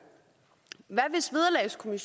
hvad